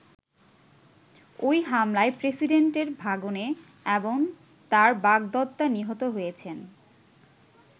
ঐ হামলায় প্রেসিডেন্টের ভাগনে এবং তার বাগদত্তা নিহত হয়েছেন।